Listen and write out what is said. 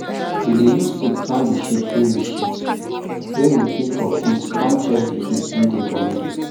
we dey use stick turn the shit wey we shit wey we keep for pit com check the heat wey dey for middle